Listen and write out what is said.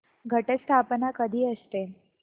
घट स्थापना कधी असते